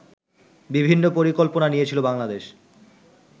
বিভিন্ন পরিকল্পনা নিয়েছিল বাংলাদেশ